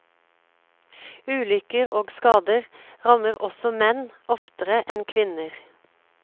Ulykker og skader rammer også menn oftere enn kvinner.